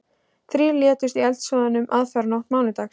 Þrír létust í eldsvoðanum aðfararnótt mánudags